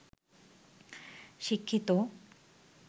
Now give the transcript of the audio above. শিক্ষিত